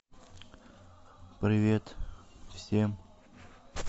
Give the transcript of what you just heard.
привет всем